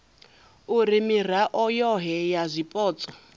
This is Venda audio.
uri mirao yohe ya zwipotso